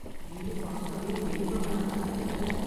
வீடு பாக்கவே பேய் பங்களா மாதிரி இருக்கு